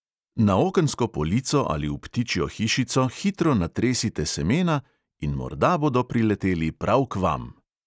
Na okensko polico ali v ptičjo hišico hitro natresite semena in morda bodo prileteli prav k vam!